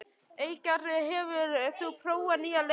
Eygerður, hefur þú prófað nýja leikinn?